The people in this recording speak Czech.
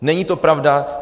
Není to pravda.